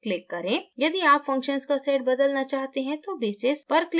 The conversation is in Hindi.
यदि आप functions का set बदलना चाहते हैं तो basis पर click करें